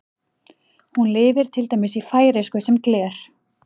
Hún lifir til dæmis í færeysku sem gler.